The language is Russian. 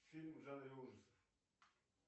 фильм в жанре ужасов